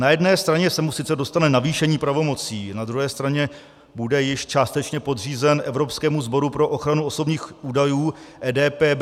Na jedné straně se mu sice dostane navýšení pravomocí, na druhé straně bude již částečně podřízen Evropskému sboru pro ochranu osobních údajů, EDPB.